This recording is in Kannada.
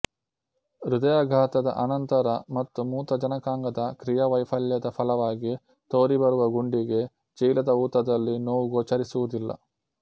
ಹೃದಯಾಘಾತದ ಅನಂತರ ಮತ್ತು ಮೂತ್ರಜನಕಾಂಗದ ಕ್ರಿಯಾವೈಫಲ್ಯದ ಫಲವಾಗಿ ತೋರಿಬರುವ ಗುಂಡಿಗೆ ಚೀಲದ ಊತದಲ್ಲಿ ನೋವು ಗೋಚರಿಸುವುದಿಲ್ಲ